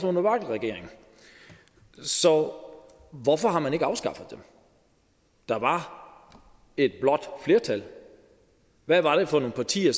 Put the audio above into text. under vlak regeringen så hvorfor har man ikke afskaffet dem der var et blåt flertal hvad var det for nogle partier